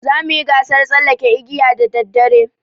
Za mu yi gasar tsallaken igiya da daddare.